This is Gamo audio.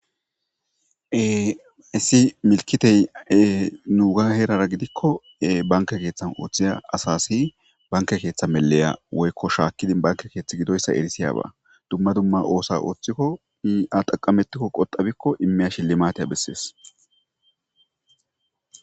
Issi milkitey nuuga heerara gidikko banke keeththan ooththiya asasi banke keeththa meleya woykko shaakkidi banke keeththi gidoyssa erisiyaba dumma dumma oosa ooththikkoaxaqametikko qoxabikko immiya shilli maateya bessees